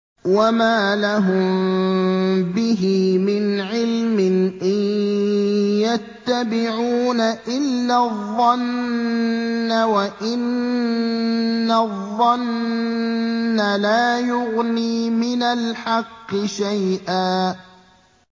وَمَا لَهُم بِهِ مِنْ عِلْمٍ ۖ إِن يَتَّبِعُونَ إِلَّا الظَّنَّ ۖ وَإِنَّ الظَّنَّ لَا يُغْنِي مِنَ الْحَقِّ شَيْئًا